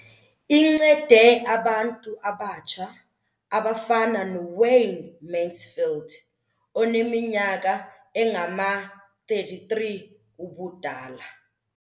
Incede abantu abatsha abafana noWayne Mansfield, oneminyaka engama-33 ubudala.